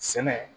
Sɛnɛ